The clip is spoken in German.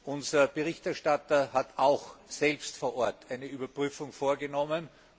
Unser Berichterstatter hat auch selbst vor Ort eine Überprüfung vorgenommen.